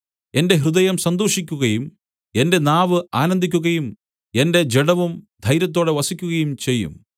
എന്റെ ഹൃദയം സന്തോഷിക്കുകയും എന്റെ നാവ് ആനന്ദിക്കുകയും എന്റെ ജഡവും ധൈര്യത്തോടെ വസിക്കുകയും ചെയ്യും